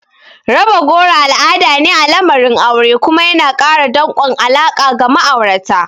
Raba goro al'ada ne a lamarin aure kuma yana ƙara danƙon alaƙa ga ma'aurata.